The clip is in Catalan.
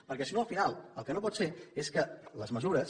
perquè si no al final el que no pot ser és que les mesures